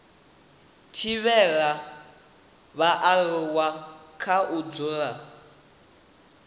thivhela vhaaluwa kha u dzula